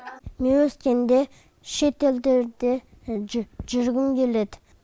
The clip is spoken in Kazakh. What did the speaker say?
мен өскенде шетелдерде жүргім келеді